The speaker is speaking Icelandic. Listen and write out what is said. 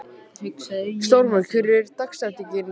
Stormur, hver er dagsetningin í dag?